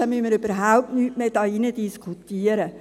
Dann müssen wir hier im Saal gar nicht mehr diskutieren.